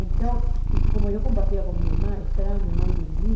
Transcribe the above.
Então, e como eu compartilhava com a minha irmã, eu esperava a minha mãe dormir.